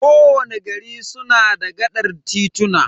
Ko wani gari suna da gaɗar tituna.